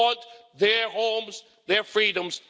They want their homes and their freedoms